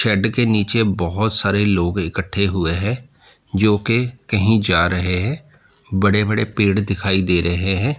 के नीचे बहोत सारे लोग इकट्ठे हुए हैं जो कि कहीं जा रहे हैं बड़े बड़े पेड़ दिखाई दे रहे हैं।